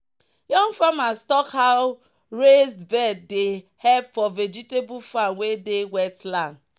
"young farmers talk how raised bed dey help for vegetable farm wey dey wetland."